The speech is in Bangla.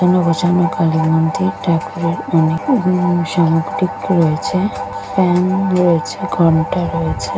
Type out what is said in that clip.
এখানে বসানো কালী মন্দির ঠাকুরের অনেক সামগ্রী রয়েছে ফ্যান রয়েছে ঘন্টা রয়েছে।